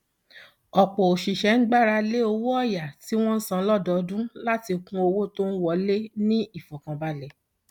ọpọ òṣìṣẹ ń gbára lé owó ọyà tí wọn san lọdọọdún láti kún owó tó ń wọlé ní ìfọkànbalẹ